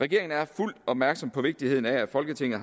regeringen er fuldt opmærksom på vigtigheden af at folketinget